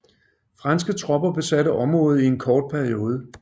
Franske tropper besatte området i en kort periode